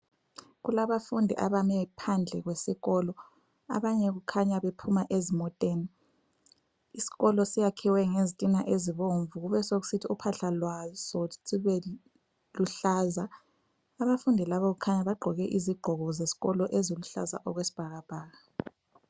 Kulabafundi abame phandle besikolo, abanye kukhanya bephuma ezimoteni. Isikolo siyakhiwe ngezitina ezibomvu kubesekusithi uphahla lwaso sibe luhlaza. Abafundi laba kukhanya bagqoke izigqoko zesikolo eziluhlaza okwesibhakabhaka.